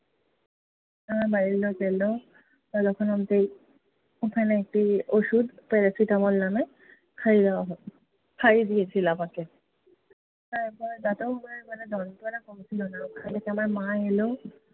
আমার বাড়ির লোক এলো। ততক্ষন অব্দি ওখানে একটি ওষুধ, প্যারাসিটামল নামে খাইয়ে দেয়া হলো, খাইয়ে দিয়েছিলো আমাকে। তারপরেও ব্যাথা যন্ত্রণা কমছিল না আমার মা এলো।